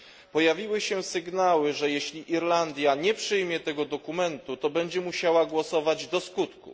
Pojawiły się sygnały, że jeśli Irlandia nie przyjmie tego dokumentu, to będzie musiała głosować do skutku.